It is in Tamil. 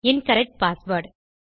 incorrect password